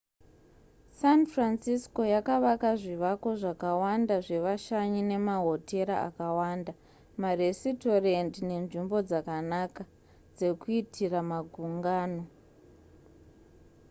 san francisco yakavaka zvivako zvakawanda zvevashanyi nemahotera akawanda maresitorendi nenzvimbo dzakanaka dzekuitira magungano